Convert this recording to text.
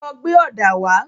Lọ gbé ọ̀dà wá.